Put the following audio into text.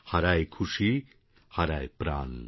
হারায় খুশি হারায় প্রাণ